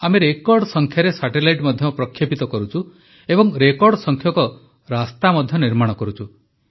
ଆମେ ରେକର୍ଡ ସଂଖ୍ୟାରେ ସାଟେଲାଇଟ୍ ମଧ୍ୟ ପ୍ରକ୍ଷେପିତ କରୁଛୁ ଏବଂ ରେକର୍ଡ ସଂଖ୍ୟକ ରାସ୍ତା ମଧ୍ୟ ନିର୍ମାଣ କରୁଛୁ